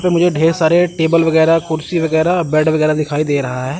मुझे ढेर सारे टेबल वगैरा कुर्सी वगैरा बेड वगैरा दिखाई दे रहा है।